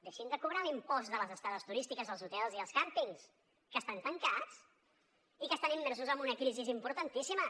deixin de cobrar l’impost de les estades turístiques als hotels i als càmpings que estan tancats i que estan immersos en una crisi importantíssima